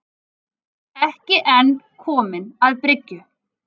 Ekki enn kominn að bryggju